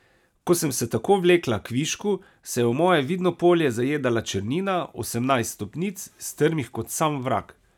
Ko sem se tako vlekla kvišku, se je v moje vidno polje zajedala črnina, osemnajst stopnic, strmih kot sam vrag.